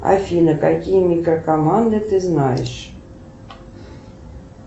афина какие микрокоманды ты знаешь